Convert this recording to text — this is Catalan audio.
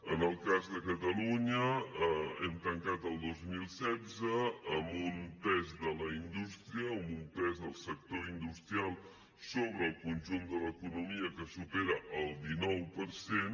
en el cas de catalunya hem tancat el dos mil setze amb un pes de la indústria amb un pes del sector industrial sobre el conjunt de l’economia que supera el dinou per cent